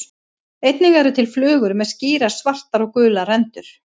Einnig eru til flugur með skýrar svartar og gular rendur.